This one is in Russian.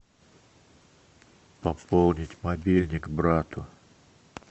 пополнить мобильник брату